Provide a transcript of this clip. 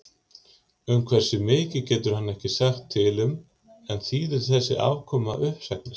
Um hversu mikið getur hann ekki sagt til um en þýðir þessi afkoma uppsagnir?